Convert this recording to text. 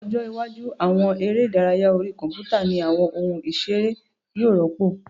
Ní ọjọ́ iwájú, àwọn eré ìdárayá orí kọ̀mpútà ní àwọn ohun ìseré yóò rọ́pò